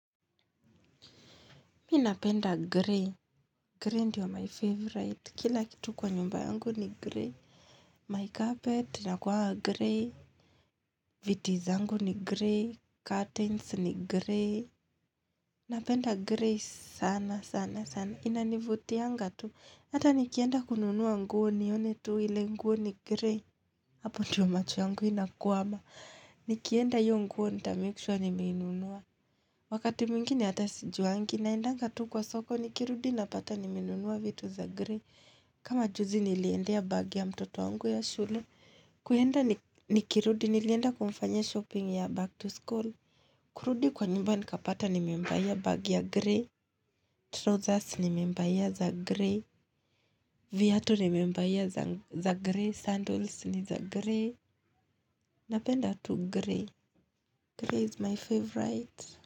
Mimi napenda gray. Gray ndiyo my favorite. Kila kitu kwa nyumba yangu ni gray. My carpet inakuwanga gray. Viti zangu ni gray. Curtains ni gray. Napenda gray sana sana sana. Inanivutianga tu. Hata nikienda kununua nguo nione tu ile nguo ni gray. Hapo ndo macho yangu inakwama. Nikienda hio nguo nitamake sure nimeinunua. Wakati mwingine hata sijuangi naendanga tu kwa soko nikirudi napata nimenunua vitu za grey kama juzi niliendea bagi ya mtoto wangu ya shule kuenda nikirudi nilienda kumfanyia shopping ya back to school kurudi kwa nyumba nikapata nimembuyia bagi ya grey Trousers nimembayia za grey viatu nimembayia za grey Sandals ni za grey Napenda tu grey grey is my favorite.